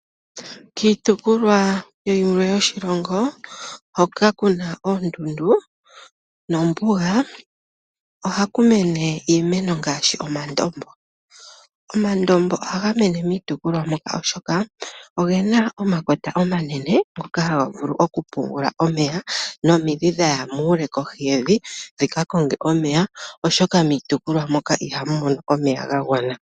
Kiitopolwa yilwe yoshilongo hoka kuna oondundu nombuga ohaku mene iimeno ngaashi omandombo. Omandombo ohaga mene miitopolwa moka oshoka ogena omakota omanene moka haga vulu okupungula omeya. Nomidhi dha ya muule kohi yevi dhika konge omeya. Oshoka miitopolwa mono ihamu mono omeya ga gwana.